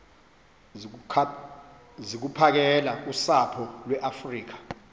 zokuphakela usapho iweafrika